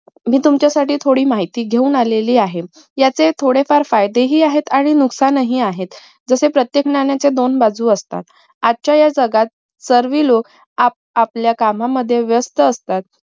मी तुमच्यासाठी थोडी माहिती घेऊन आलेली आहे याचे थोडे फार फायदे हि आहेत आणि नुकसान हि आहेत जसे प्रत्येक नाण्याच्या दोन बाजू असतात आजच्या ह्या जगात सर्वे लोक आपापल्या कामामध्ये व्यस्थ असतात